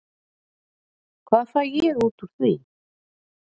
Hvað fæ ég út úr því?